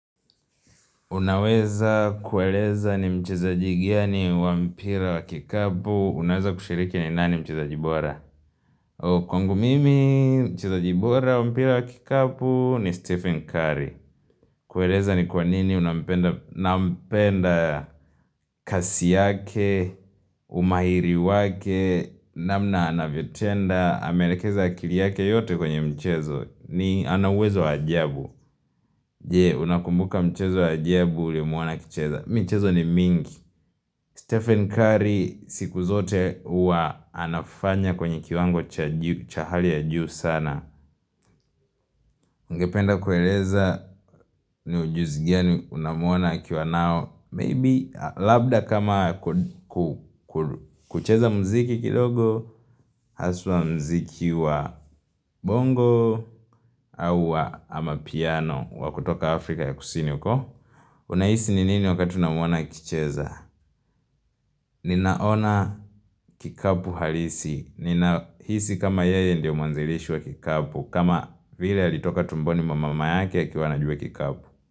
Unaweza kueleza ni mchezaji gani wa mpira wa kikapu Unaweza kushiriki ni nani mchezaji bora? Kwangu mimi mchezaji bora wa mpira wa kikapu ni Stephen Curry kueleza ni kwanini nampenda kasi yake, umahiri wake namna anavyotenda, ameelekeza akili yake yote kwenye mchezo ni ana uwezo wa ajabu Je, unakumbuka mchezo ya ajabu ulimuona akicheza michezo ni mingi Stephen Curry siku zote huwa anafanya kwenye kiwango cha juu cha hali ya juu sana Ungependa kueleza ni ujuzi gani unamuona akiwa nao Maybe labda kama kucheza muziki kidogo Haswa muziki wa bongo au wa amapiano wa kutoka Afrika ya Kusini huko Unahisi ni nini wakati unamuona akicheza Ninaona kikapu halisi ninahisi kama yeye ndio mwanzilishi wa kikapu kama vile alitoka tumboni mwa mama yake akiwa anajua kikabu.